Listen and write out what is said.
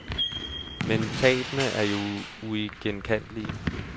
Men tabene er jo uigenkaldelige.